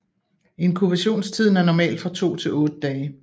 Inkubationstiden er normalt fra 2 til 8 dage